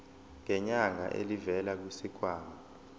ngenyanga elivela kwisikhwama